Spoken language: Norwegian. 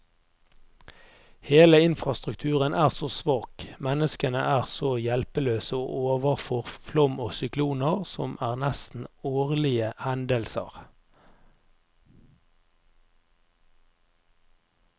Hele infrastrukturen er så svak, menneskene er så hjelpeløse overfor flom og sykloner, som er nesten årlige hendelser.